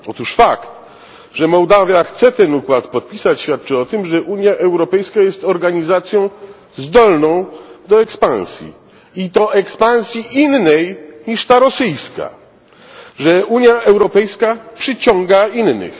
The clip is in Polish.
Otóż fakt, że Mołdawia chce ten układ podpisać, świadczy o tym, że Unia Europejska jest organizacją zdolną do ekspansji i to ekspansji innej niż ta rosyjska, że Unia Europejska przyciąga innych.